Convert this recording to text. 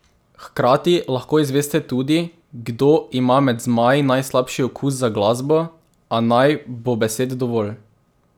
Hkrati lahko izveste tudi, kdo ima med zmaji najslabši okus za glasbo, a naj bo besed dovolj.